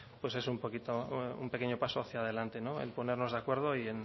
pues es un pequeño paso hacia adelante en ponernos de acuerdo y